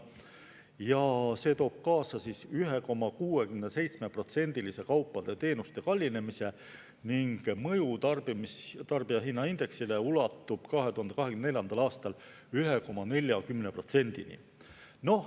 Ja see toob kaasa 1,67%-lise kaupade ja teenuste kallinemise ning mõju tarbijahinnaindeksile ulatub 2024. aastal 1,40%-ni.